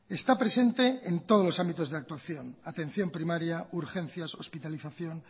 está presente en todos los ámbitos de actuación atención primaria urgencias hospitalización